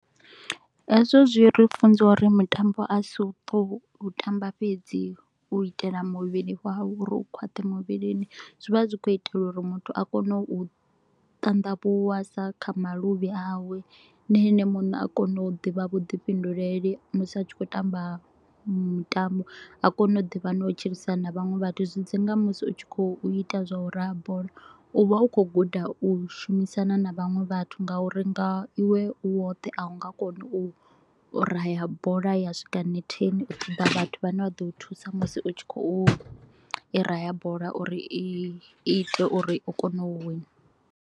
Hezwo zwi ri funza u ri mitambo a si u to u tamba fhedzi u itela muvhili wau u ri u khwaṱhe muvhilini zwi vha zwi kho u itelwa u ri muthu a kone u ṱanḓavhuwa sa kha maluvhi awe. Na ene muṋe a kona u ḓivha vhuḓifhinduleli musi a tshi kho u tamba mitambo, a kone u ḓivha na u tshilisana vhaṅwe vhathu, zwi dzi nga musi u tshi kho u ita zwa u raha bola. U vha u kho u guda u shumisana na vhaṅwe vhathu nga u ri nga iwe u woṱhe a u nga koni u raha bola ya swika netheni u vhathu vhane vha ḓo u thusa musi u tshi kho u i raha bola u ri i ite u ri u kone u wina.